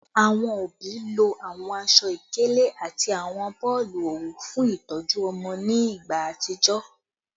Awọn obi lo awọn aṣọ-ikele ati awọn boolu owu fun itọju ọmọ ni igba atijọ